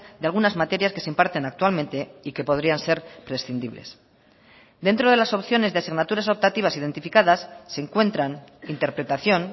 de algunas materias que se imparten actualmente y que podrían ser prescindibles dentro de las opciones de asignaturas optativas identificadas se encuentran interpretación